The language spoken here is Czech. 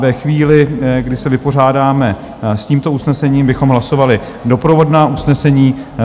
Ve chvíli, kdy se vypořádáme s tímto usnesením, bychom hlasovali doprovodná usnesení.